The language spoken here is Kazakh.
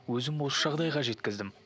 өзім осы жағдайға жеткіздім